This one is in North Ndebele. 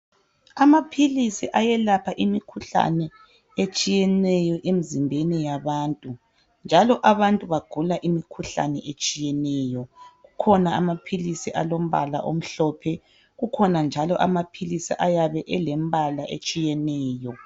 Amaphilisi ayelapha imikhuhlane etshiyeneyo emzimbeni yabantu njalo abantu bagula imikhuhlane etshiyeneyo kukhona amaphilisi alombala omhlophe kukhona njalo amaphilisi ayabe elembala etshiyeneyo.